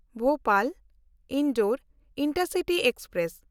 ᱵᱷᱳᱯᱟᱞ–ᱤᱱᱫᱳᱨ intercity express